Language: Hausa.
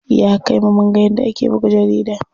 Ya kai mu munga yadda ake buga jarida.